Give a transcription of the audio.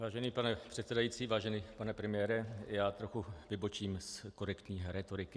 Vážený pane předsedající, vážený pane premiére, já trochu vybočím z korektní rétoriky.